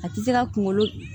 A tɛ se ka kunkolo